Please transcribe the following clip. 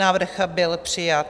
Návrh byl přijat.